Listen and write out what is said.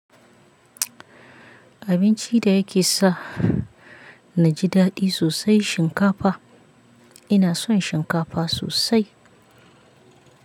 Abinci da yake sa na ji daɗi sosai shinkafa. Ina son shinkafa sosai.